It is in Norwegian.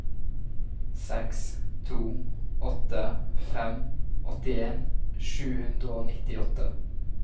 seks to åtte fem åttien sju hundre og nittiåtte